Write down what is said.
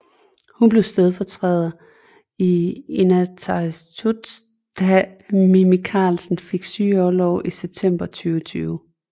Hun blev stedfortræder i Inatsisartut da Mimi Karlsen fik sygeorlov i september 2020